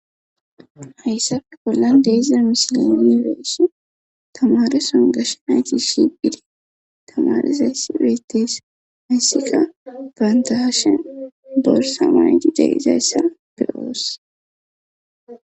Hayssafe bollan deeze misile iireessi tamareson gashen haykis shiphidi tamarezayssi beeteese hayssika baandaashen borsa maaji darizayssa beyoos